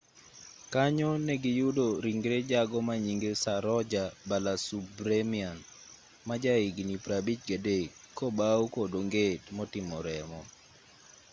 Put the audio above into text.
kanyo negiyudo ringre jago manyinge saroja balasubramanian majahigni 53 kobawu kod onget motimo remo